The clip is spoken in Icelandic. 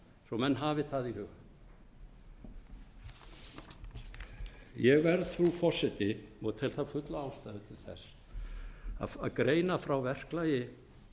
svo menn hafi það í huga ég verð frú forseti og tel fulla ástæðu til þess að greina frá verklagi